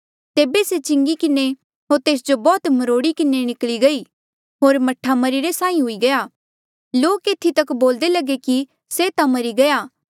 तेबे से चिंगी किन्हें होर तेस जो बौह्त मरोड़ी किन्हें निकली गयी होर मह्ठा मरीरे साहीं हुई गया लोक एथी तक बोल्दे लगे कि से ता मरी गया